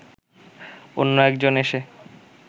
অন্য একজন এসে